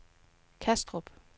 Kastrup